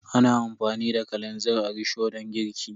Ana amfani da kalanzir a risho don girki.